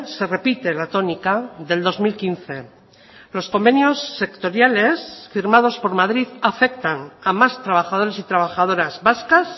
se repite la tónica del dos mil quince los convenios sectoriales firmados por madrid afectan a más trabajadores y trabajadoras vascas